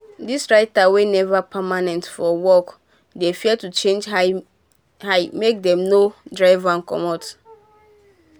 dos writer wey neva permanent um for work um dey fear to charge high make dem nor um drive dem comot